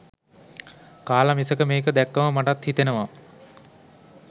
කාල මිසක මේක දැක්කම මටත් හිතෙනවා